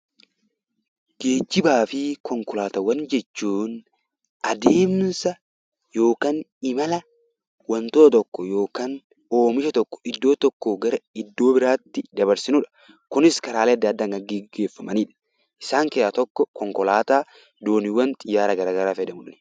Geejjibaa fi konkolaataawwan jechuun adeemsa yookaan imala wantoota tokko yookaan oomisha tokko iddoo tokkoo gara iddoo biraatti dabarsinudha. Kunis karaalee adda addaan kan gaggeeffamanidha. Isaan keessaa tokko konkolaataa, dooniiwwan, xiyyaara gara garaa fayyadamuu dandeenya.